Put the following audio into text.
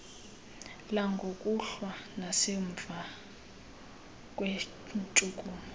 langokuhlwa nasemva kweentshukumo